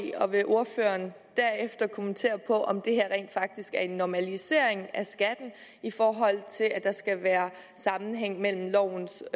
i og vil ordføreren derefter kommentere om det her rent faktisk er en normalisering af skatten i forhold til at der skal være sammenhæng mellem lovens